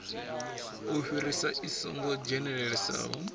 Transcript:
u fhirisa i songo dzhenelelesaho